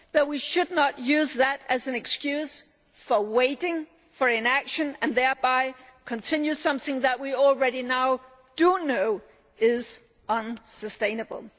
be. But we should not use that as an excuse for waiting, for inaction, and thereby continuing something that we already now know is unsustainable.